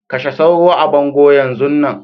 Kashe sauro a bango Yan zun nan.